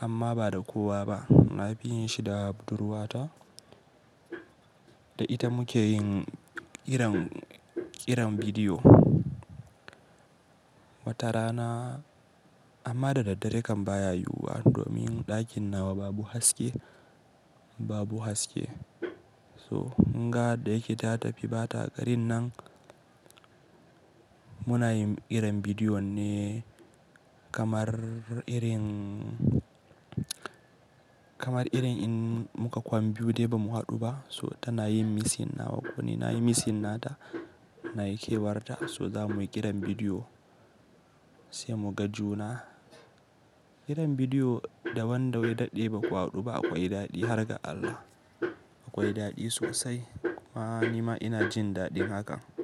amma ba da kowa ba. Na fi yin shi da budurwata da ita muke yin ƙiran, ƙiran bidiyo watarana amma da daddare kan baya yiwuwa domin ɗakin nawa babu haske, babu haske. So, in ga da yake ta tafi bata garin nan muna yin ƙiran bidiyo ne kamar irin, kamar irin in muka kwam biyu dai ba mu haɗu ba. So tana yin missing na wa ko ni nayi missing nata nayi kewarta so za muyi ƙiran bidiyo sai muga juna. Ƙiran bidiyo da wanda wai daɗe ba kwa haɗu ba akwai daɗi har ga Allah. Akwai daɗi sosai. Ni ma ina jin daɗin hakan.